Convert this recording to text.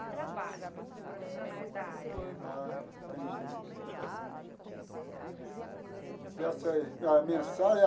Que trabalham, os profissionais da área. Ah entendi a mensagem.